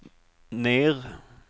ner